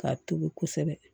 K'a tobi kosɛbɛ